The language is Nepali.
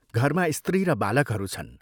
घरमा स्त्री र बालकहरू छन्।